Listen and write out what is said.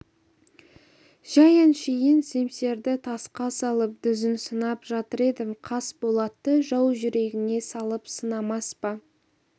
жәй әшейін семсерді тасқа салып дүзін сынап жатыр едім қас болатты жау жүрегіне салып сынамас па